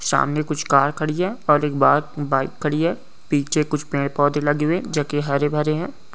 सामने कुछ कार खड़ी है और एक बाहर बाइक खड़ी है पीछे कुछ पेड़ पौधे लगे हुए जोकि हरे भरे है।